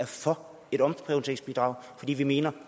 for et omprioriteringsbidrag fordi vi mener